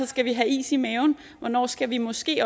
skal have is i maven hvornår skal vi måske